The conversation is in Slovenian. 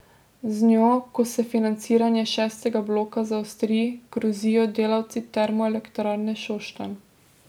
Z njo, ko se financiranje šestega bloka zaostri, grozijo delavci Termoelektrarne Šoštanj.